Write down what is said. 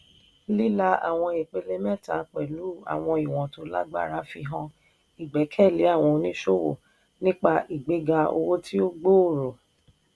lílà àwọn ìpele mẹ́ta pẹ̀lú àwọn ìwọ̀n tó lágbára fi hàn ìgbẹ́kẹ̀lé àwọn oníṣòwò nípa ìgbéga owó tí ó gbòòrò.